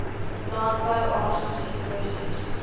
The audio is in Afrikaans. landbou aangesien kwessies